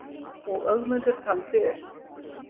Og Ögmundur taldi upp: